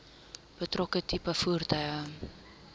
betrokke tipe voertuig